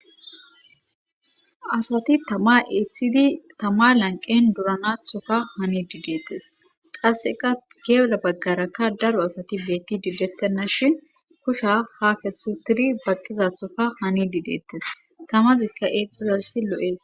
asati tama eeththidi tama lanqen duranathoka hani dideettes qasseka geeera baggarakka daro asati beetti didettenna shin kusha ha kessu tiri baqqizathoka hani dideettes tamazikka eexxezassi lo7ees